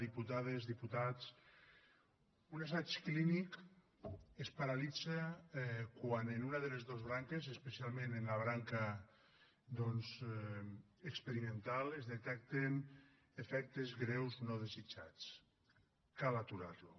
diputades diputats un assaig clínic es paralitza quan en una de les dos branques especialment en la branca experimental es detecten efectes greus no desitjats cal aturar lo